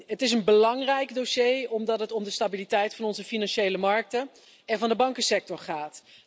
Het is een belangrijk dossier, omdat het om de stabiliteit van onze financiële markten en van de bankensector gaat.